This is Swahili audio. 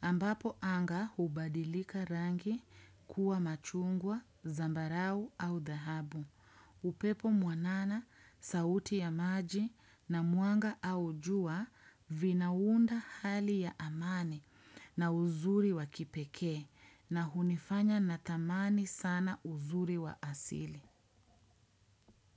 Ambapo anga hubadilika rangi kuwa machungwa, zambarau au dahabu. Upepo mwanana, sauti ya maji na mwanga au jua vinaunda hali ya amani na uzuri wakipekee na hunifanya natamani sana uzuri wa asili.